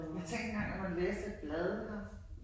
Ja tænkt engang at man læste et blad ikke også